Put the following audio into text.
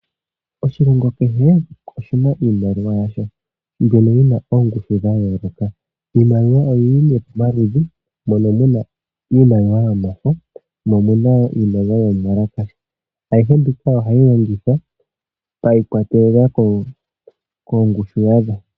Oshilongo kehe oshina iimaliwa yasho mbyono yina oongundu dhayooloka. Iimaliwa oyili nee pomaludhi mono muna iimaliwa yomafo momuna woo iimaliwa yomuwalakasha. Ayihe mbika ohayi longithwa shikwatelela koongushu yasho.